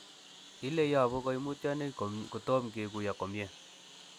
Ile yobu koimutioniton kotom kikuyo komie.